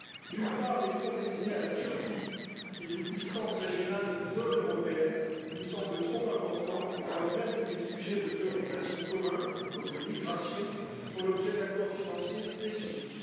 D'une part, les fonds destinés à la Turquie, qui est une puissance régionale non européenne, nous semble trop importants alors même que les sujets de préoccupations communs, comme les migrations, font l'objet d'accords financiers spécifiques.